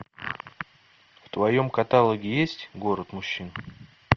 в твоем каталоге есть город мужчин